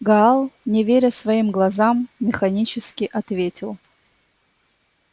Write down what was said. гаал не веря своим глазам механически ответил